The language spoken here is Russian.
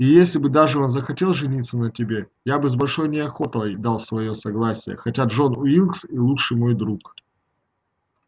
и если бы даже он захотел жениться на тебе я бы с большой неохотой дал своё согласие хотя джон уилкс и лучший мой друг